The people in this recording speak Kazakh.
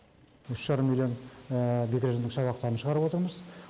үш жарым миллион бекіренің шабақтарын шығарып отырмыз